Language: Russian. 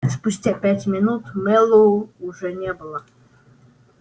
спустя пять минут мэллоу уже не было